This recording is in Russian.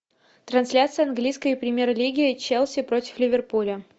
трансляция английской премьер лиги челси против ливерпуля